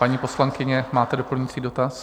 Paní poslankyně, máte doplňující dotaz?